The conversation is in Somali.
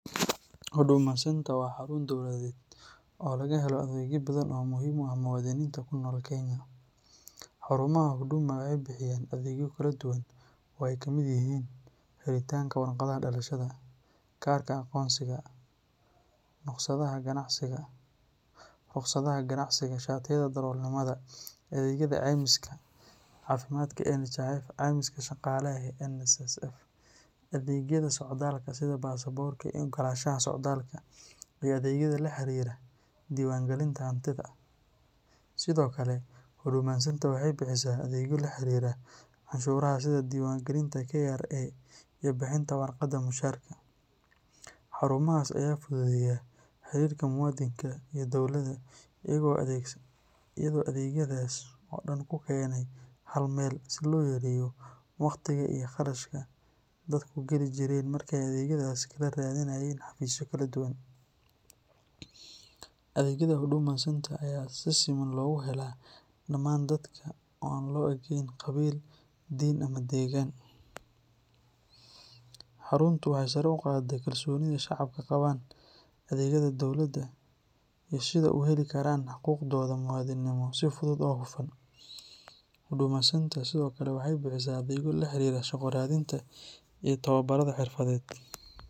Huduma Centre waa xarun dowladeed oo laga helo adeegyo badan oo muhiim u ah muwaadiniinta ku nool Kenya. Xarumaha Huduma waxay bixiyaan adeegyo kala duwan oo ay ka mid yihiin helitaanka warqadda dhalashada, kaarka aqoonsiga, rukhsadaha ganacsiga, shatiyada darawalnimada, adeegyada caymiska caafimaadka ee NHIF, caymiska shaqaalaha ee NSSF, adeegyada socdaalka sida baasaboorka iyo oggolaanshaha socdaalka, iyo adeegyada la xiriira diiwaangelinta hantida. Sidoo kale, Huduma Centre waxay bixisaa adeegyo la xiriira canshuuraha sida diiwaangelinta KRA iyo bixinta warqadda mushaharka. Xarumahaas ayaa fududeeya xiriirka muwaadinka iyo dawladda iyagoo adeegyadaas oo dhan ku keenay hal meel si loo yareeyo waqtiga iyo kharashka dadku geli jireen markii ay adeegyadaas kala raadinayeen xafiisyo kala duwan. Adeegyada Huduma Centre ayaa si siman loogu helaa dhammaan dadka oo aan loo eegayn qabiil, diin ama deegaan. Xaruntu waxay sare u qaaday kalsoonida shacabka ku qabaan adeegyada dowladda iyo sida ay u heli karaan xuquuqdooda muwaadinimo si fudud oo hufan. Huduma Centre sidoo kale waxay bixisaa adeegyo la xiriira shaqo raadinta iyo tababarrada xirfadeed